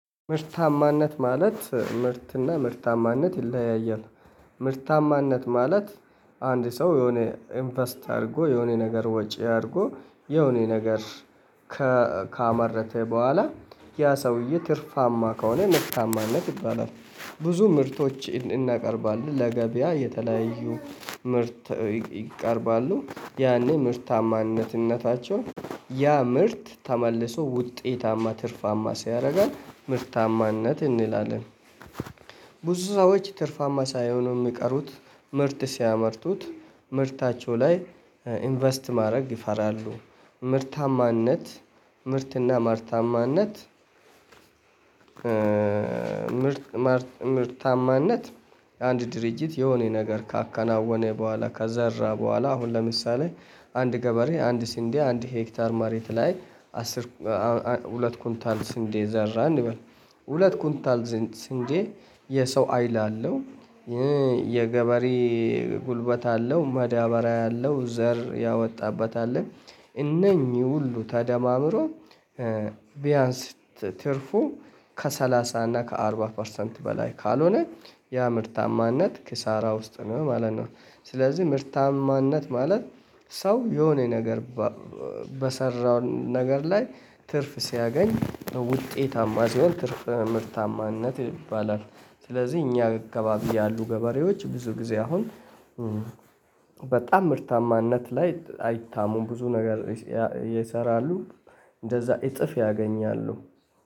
ምርታማነት ማለት ምርትና ምርታማነት ይለያያል። ምርታማነት ማለት። አንድ ሰው የሆነ ኢንቨስት አድርጎ የሆነ ነገር ወጪ አድርጎ የሆነ ነገር ካመረተ በኋላ ያ ሰውዬ ትርፋማ ከሆነ መርታማነት ይባላል። ብዙ ምርቶች እናቀርባለን ለገበያ የተለያዩ ምርት ይቀርባሉ ያኔ ምርታማነትነታቸውን ያ ምርት ተመልሰው ውጤታማ ትርፋማ ሲያደርገን ምርታማነት እንላለን። ብዙ ሰዎች ትርፋማ ሳይሆኑ የሚቀሩት ምርት ሲያመርቱት ምርታቸው ላይ ኢንቨስት ማድረግ ይፈራሉ። ምርታማነት ምርትና ማርታማነት። ምርት ማርታማነት። አንድ ድርጅት የሆነ ነገር ካከናወነ በኋላ ካዘራ በኋላ አሁን ለምሳሌ አንድ ገበሬ አንድ ሲንዴ አንድ ሄክታር ማሬት ላይ። ሁለት ኩንታል ስንዴ ዘራ እንበል። ሁለት ኩንታል ስንዴ የሰው ሀይል አለው። የገበሬ ጉልበት አለው መዳበሪያ አለው ዘር ያወጣበት አለ። እነኚህ ሁሉ ተደማምሮ። ቢያንስ ትርፉ ከሰላሳ እና ከአርባ ፐርሰንት በላይ ካልሆነ ያ ምርታማነት ክሳራ ውስጥ ነው ማለት ነው። ስለዚህ ምርታማነት ማለት ሰው የሆነ ነገር በሰራው ነገር ላይ ትርፍ ሲያገኝ ውጤታማ ሲሆን ትርፍ ምርታማነት ይባላል። ስለዚህ እኛ እካባቢ ያሉ ገበሬዎች ብዙ ጊዜ አሁን በጣም ምርታማነት ላይ አይታሙም ብዙ ነገር ይሰራሉ። እንደዛ እጥፍ ያገኛሉ